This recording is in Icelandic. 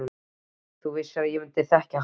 Þú vissir að ég myndi þekkja hana.